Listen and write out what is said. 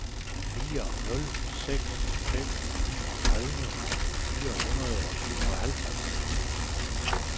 fire nul seks fem niogtredive fire hundrede og syvoghalvtreds